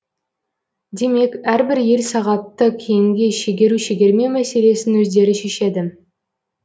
демек әрбір ел сағатты кейінге шегеру шегермеу мәселесін өздері шешеді